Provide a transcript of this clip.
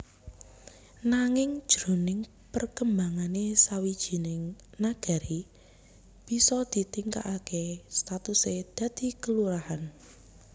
Nanging jroning perkembangané sawijining Nagari bisa ditingkataké statusé dadi kalurahan